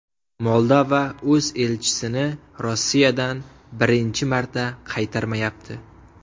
Moldova o‘z elchisini Rossiyadan birinchi marta qaytarmayapti.